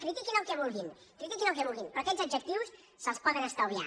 critiquin el que vulgui criti·quin el que vulguin però aquests adjectius se’ls po·den estalviar